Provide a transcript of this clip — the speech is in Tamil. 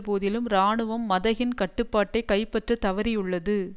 போதிலும் இராணுவம் மதகின் கட்டுப்பாட்டை கைப்பற்றத் தவறியுள்ளது